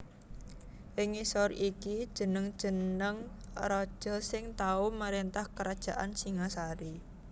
Ing ngisor iki jeneng jeneng raja sing tau marentah krajan Singhasari